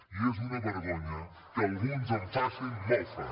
i és una vergonya que alguns en facin mofa